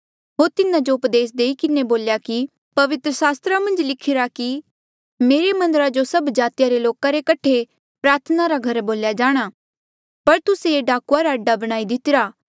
होर तिन्हा जो उपदेस देई किन्हें बोल्या कि पवित्र सास्त्रा मन्झ लिखिरा कि मेरे मन्दरा जो सब जातिया रे लोका रे कठे प्रार्थना रा घर बोल्या जाणा पर तुस्से ये डाकुआ रा आडा बणाई दितिरा